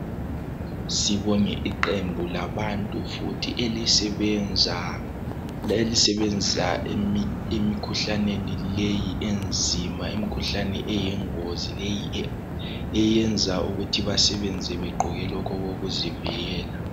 Sibonge iqembu labantu elisebenza lemikhuhlaneni leyo enzima imkhuhlane eyingozi leyi eyenza ukuthi basebenze begqoke lokhu okokuzivikela.